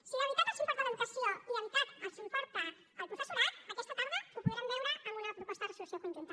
si de veritat els importa l’educació i de veritat els importa el professorat aquesta tarda ho podrem veure amb una proposta de resolució conjunta